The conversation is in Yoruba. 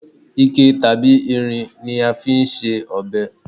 ike tabi irin ni a fi n se ọbẹ